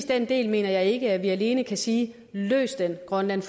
den del mener jeg ikke at vi alene kan sige løs det grønland